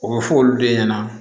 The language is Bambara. O bɛ fɔ olu de ɲɛna